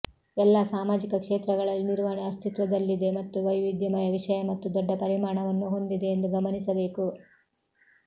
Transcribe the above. ಎಲ್ಲಾ ಸಾಮಾಜಿಕ ಕ್ಷೇತ್ರಗಳಲ್ಲಿ ನಿರ್ವಹಣೆ ಅಸ್ತಿತ್ವದಲ್ಲಿದೆ ಮತ್ತು ವೈವಿಧ್ಯಮಯ ವಿಷಯ ಮತ್ತು ದೊಡ್ಡ ಪರಿಮಾಣವನ್ನು ಹೊಂದಿದೆ ಎಂದು ಗಮನಿಸಬೇಕು